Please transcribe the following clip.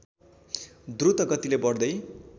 द्रुत गतिले बढ्दै